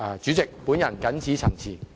主席，我謹此陳辭。